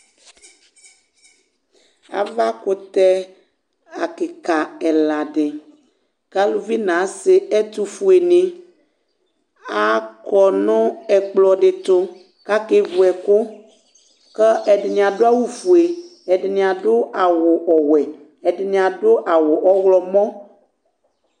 aɣa kʋtɛ kikaa ɛla di kʋ alʋvi nʋ asii ɛtʋƒʋɛ ni akɔnʋ ɛkplɔ di tʋ kʋ akɛ vʋ ɛkʋ kʋ ɛdini adʋ awʋ ƒʋɛ, ɛdini adʋ awʋ ɔwɛ, ɛdini adʋ awʋ ɔwlɔmɔ